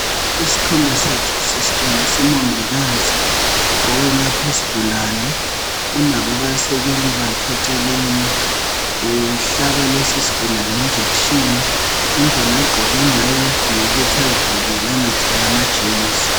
Isithombe sethu sisitshengisa umongikazi owelapha isigulani unabo abasekeli bakhe eceleni uhlaba lesi isigulane injekishini indlela agqoke ngayo ngeyokuthi azivikele angatholi amajemuzi.